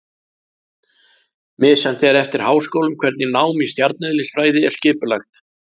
Misjafnt er eftir háskólum hvernig nám í stjarneðlisfræði er skipulagt.